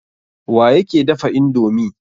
Wa yake dafa indomi?